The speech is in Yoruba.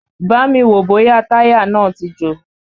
Bámi wòó bóyá táyà náà ti jò!